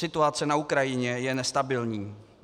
Situace na Ukrajině je nestabilní.